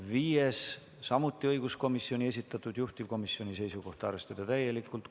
Viies on samuti õiguskomisjoni esitatud, juhtivkomisjoni seisukoht on arvestada seda täielikult.